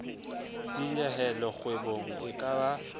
dinyehelo kgwebong e ka ba